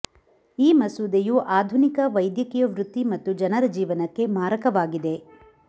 ಈ ಮಸೂದೆಯು ಆಧುನಿಕ ವೈದ್ಯಕೀಯ ವೃತ್ತಿ ಮತ್ತು ಜನರ ಜೀವನಕ್ಕೆ ಮಾರಕವಾಗಿದೆ